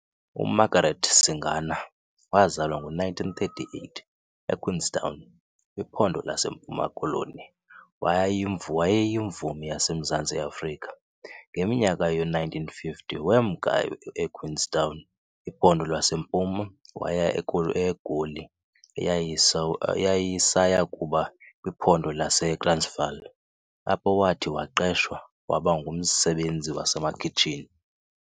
UMargaret Singana wazalwa ngo1938 eQueenstown, kwiPhondo laseMpuma-Koloni wayeyimvumi yaseMzantsi Afrika. Ngeminyaka yoo-1950, wemka eQueenstown, iPhondo laseMpuma waye eGoli eyayisaya kuba kwiPhondo laseTransvaal, apho wathi waqeshwa waba ngumsebenzi wasemakhitshini.